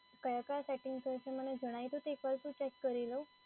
કયા કયા સેટિંગ્સ હોય છે, એમને જણાઈ દો તો એક વાર શું ચેક કરી લઉં.